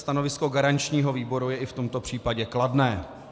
Stanovisko garančního výboru je i v tomto případě kladné.